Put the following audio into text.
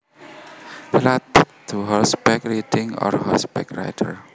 Related to horseback riding or horseback riders